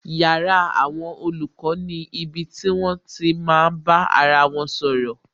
Yàrá àwọn olùkọ́ ni ibi tí wón ti máa bá ara wọn sọ̀rọ̀